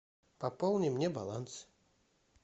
пополни мне баланс